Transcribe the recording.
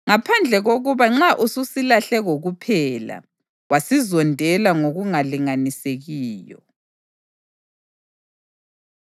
ngaphandle kokuba nxa ususilahle kokuphela wasizondela ngokungalinganisekiyo.